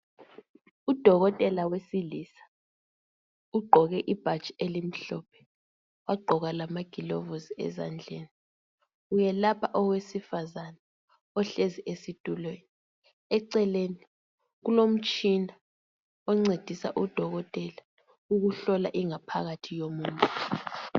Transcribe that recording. Udokotela wesilisa ugqoke ibhatshi elimhlophe wagqoka lamagilobuzi ezandleni, welapha owesifazana ohlezi esitulweni eceleni kulomtshina oncedisa udokotela ukuhlola ingaphakathi yomuntu.